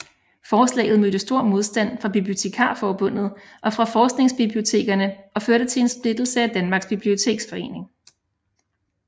Forslaget mødte stor modstand fra Bibliotekarforbundet og fra forskningsbibliotekerne og førte til en splittelse af Danmarks Biblioteksforening